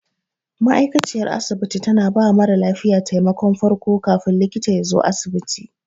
Ma'aikaciyar asibiti tana bawa mara lafiya taimakon farko kafin likita yazo asibiti.